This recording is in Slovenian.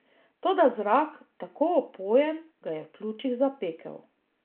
Toda zrak, tako opojen, ga je v pljučih zapekel.